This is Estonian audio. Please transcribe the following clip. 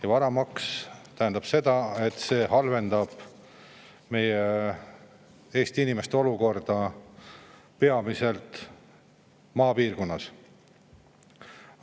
Ja varamaks tähendab seda, et see halvendab meie Eesti inimeste olukorda peamiselt maapiirkonnas.